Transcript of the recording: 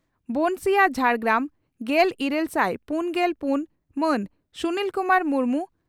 ᱵᱚᱱᱥᱤᱭᱟᱹ ᱡᱷᱟᱲᱜᱨᱟᱢ᱾ᱜᱮᱞ ᱤᱨᱟᱹᱞ ᱥᱟᱭ ᱯᱩᱱᱜᱮᱞ ᱯᱩᱱ ᱢᱟᱱ ᱥᱩᱱᱤᱞ ᱠᱩᱢᱟᱨ ᱢᱩᱨᱢᱩ